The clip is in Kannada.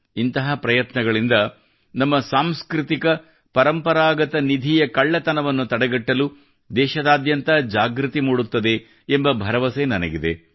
ಇಂತಹ ಪ್ರಯತ್ನಗಳಿಂದ ನಮ್ಮ ಸಾಂಸ್ಕೃತಿಕ ಪರಂಪರಾಗತ ನಿಧಿಯ ಕಳ್ಳತನವನ್ನು ತಡೆಗಟ್ಟಲು ದೇಶದಾದ್ಯಂತ ಜಾಗೃತಿ ಮೂಡುತ್ತದೆ ಎಂಬ ಭರವಸೆ ನನಗಿದೆ